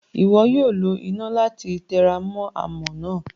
Iwọ yoo lo ina lati teramo amọ naa.